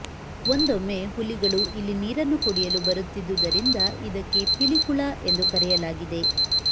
ಒಂದೊಮ್ಮೆ ಹುಲಿಗಳು ಇಲ್ಲಿ ನೀರನ್ನು ಕುಡಿಯಲು ಬರುತ್ತಿದ್ದುದರಿಂದ ಇದಕ್ಕೆ ಪಿಲಿಕುಳ ಎಂದು ಕರೆಯಲಾಗಿದೆ